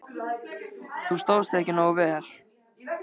Þú stóðst þig ekki nógu vel.